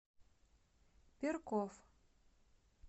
перков